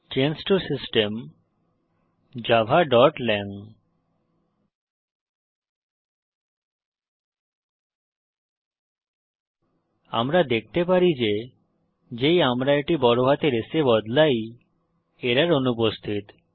change to system javaল্যাং আমরা দেখতে পারি যে যেই আমরা এটি বড় হাতের S এ বদলাই এরর অনুপস্থিত